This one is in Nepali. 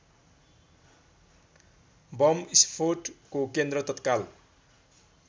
बम स्फोटको केन्द्र तत्काल